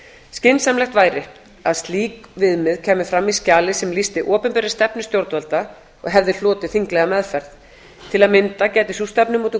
skynsamlegt væri að slík viðmið kæmu fram í skjali sem lýsti opinberri stefnu stjórnvalda og hefði hlotið þinglega meðferð til að mynda gæti sú stefnumótun